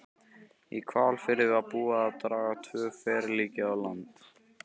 Í Hvalfirði var búið að draga tvö ferlíki á land.